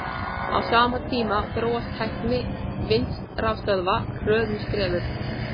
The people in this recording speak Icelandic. Á sama tíma þróast tækni vindrafstöðva hröðum skrefum.